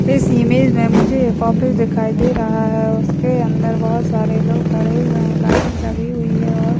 इस इमेज में मुझे एक ऑफिस दिखाई दे रहा है उसके अंदर बहुत सारे लोग खड़े हुए हैं लाइटिंग लगी हुई है और --